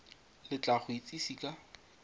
le tla go itsise ka